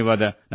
ನಮಸ್ಕಾರ